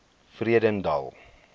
vredendal